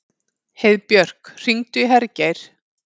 Heiðbjörk, hringdu í Hergeir.